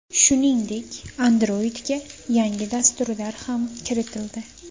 Shuningdek, Android’ga yangi dasturlar ham kiritildi.